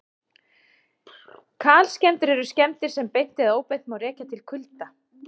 kalskemmdir eru skemmdir sem beint eða óbeint má rekja til kulda